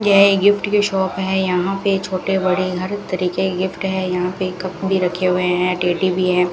यह एक गिफ्ट की शॉप है यहां पे छोटे बड़े हर तरीके के गिफ्ट है यहां पे कप भी रखे हुए हैं टेडी भी है।